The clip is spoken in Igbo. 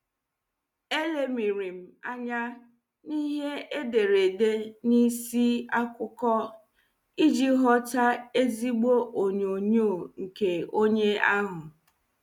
Elemirim anya n' ihe ederede n' isi akụkọ iji ghọta ezigbo onyonyo nke onye ahụ.